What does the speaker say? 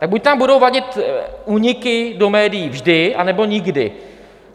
Tak buď nám budou vadit úniky do médií vždy, anebo nikdy.